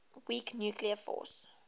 weak nuclear force